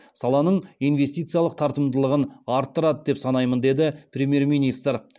саланың инвестициялық тартымдылығын арттырады деп санаймын деді премьер министр